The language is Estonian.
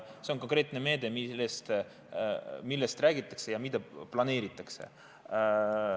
See on konkreetne meede, millest räägitakse ja mida planeeritakse.